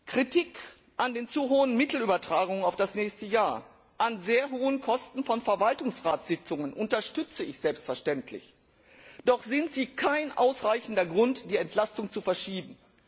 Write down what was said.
Kritik an den zu hohen Mittelübertragungen auf das nächste Jahr, an sehr hohen Kosten von Verwaltungsratsitzungen unterstütze ich selbstverständlich, doch ist sie kein ausreichender Grund, die Entlastung zu verschieben.